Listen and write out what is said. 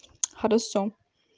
хорошо